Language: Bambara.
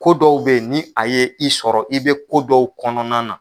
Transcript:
Ko dɔw bɛ yen, ni a ye i sɔrɔ, i bɛ kodɔw kɔnɔna na